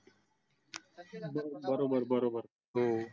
बरोबर बरोबर हो